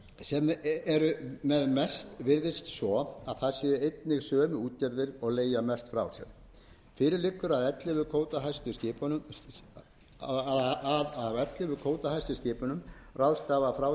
á þeim sem eru með mest virðist svo að það séu einnig sömu útgerðir og leigja mest frá sér fyrir liggur að af ellefu kvótahæstu skipunum ráðstafa frá sér áttatíu og þrjú prósent af